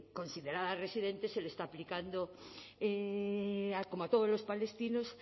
considerada residente se le está aplicando como a todos los palestinos